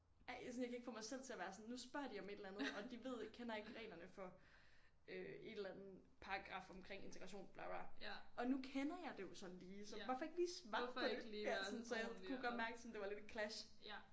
Ej jeg sådan jeg kan ikke få mig selv til at være sådan nu spørger de om et eller andet og de ved ikke kender ikke reglerne for øh et eller andet paragraf omkring integration bla bla og nu kender jeg det jo sådan lige så hvorfor ikke svare på det altså så jeg kunne godt mærke sådan det var lidt et clash